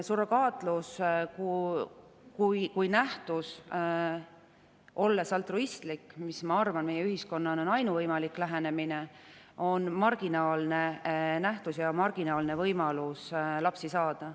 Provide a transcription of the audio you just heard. Surrogaatlus kui nähtus, olles altruistlik, mis, ma arvan, meie ühiskonnas on ainuvõimalik lähenemine, on marginaalne nähtus ja marginaalne võimalus lapsi saada.